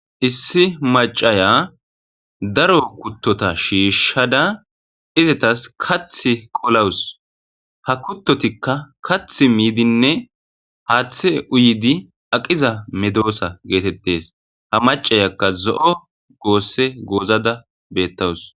Issi macaya daro kuttota shiishada izitas kath qolawus ha kuttotikka kath miidinne haaththe uyidi aqiza medoosa geetettes ha macayakka zo7o goosse goozada beettawus.